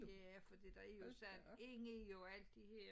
Ja fordi der er jo sådan inde i jo alt det her